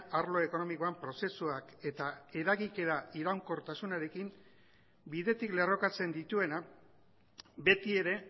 arlo ekonomikoan prozesuak eta eragikera iraunkortasunarekin bidetik lerrokatzen dituena betiere